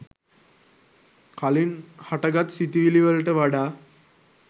කලින් හටගත් සිතිවිලිවලට වඩා